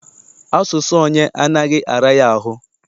Asụsụ onye anaghị ara ya ahụ